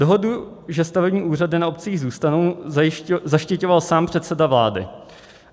Dohodu, že stavební úřady na obcích zůstanou, zaštiťoval sám předseda vlády.